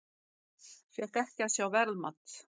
Fékk ekki að sjá verðmat